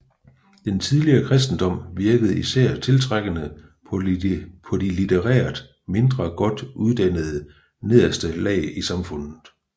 Den tidlige kristendom virkede især tiltrækkende på de litterært mindre godt uddannede nederste lag i samfundet